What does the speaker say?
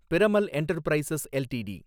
Piramal Enterprises LTD